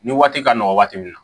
Ni waati ka nɔgɔ waati min na